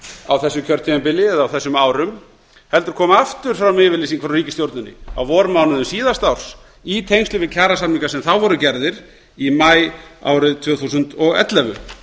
á þessu kjörtímabili eða þessum árum heldur kom aftur fram yfirlýsing frá ríkisstjórninni á vormánuðum síðasta árs í tengslum við kjarasamninga sem þá voru gerðir í maí árið tvö þúsund og ellefu